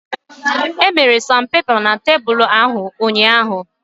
Emere sanpepa na tebulu ahụ ụnyaahụ